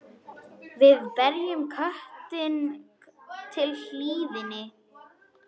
Við berjum kjötið til hlýðni.